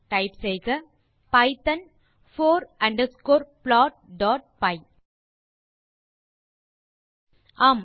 type செய்க Python four underscore plotபை ஆம்